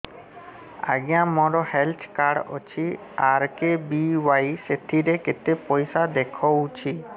ଆଜ୍ଞା ମୋର health card ଅଛି ଆର୍.କେ.ବି.ୱାଇ ସେଥିରେ କେତେ ପଇସା ଦେଖଉଛି